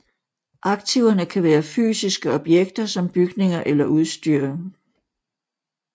Aktiverne kan være fysiske objekter som bygninger eller udstyr